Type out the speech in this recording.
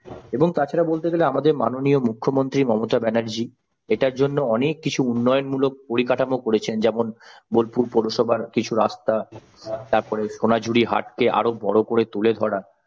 এবং তাছাড়া বলতে গেলে আমাদের মাননীয় মুখ্যমন্ত্রী মমতা ব্যানার্জি এটার জন্য অনেক কিছু উন্নয়নমূলক পরিকাঠামো করেছেন যেমন বোলপুর পৌরসভার কিছু রাস্তা তারপর সোনাঝুরি হাটকে আরো বড় করে তুলে ধরা।